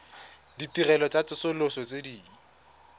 ditirelo tsa tsosoloso tse di